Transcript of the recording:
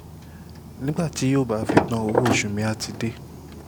nígbà tí yóò bá fi tán owó oṣù mi-ín àá ti dé